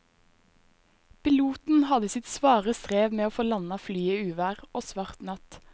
Piloten hadde sitt svare strev med å få landet flyet i uvær og svart natt.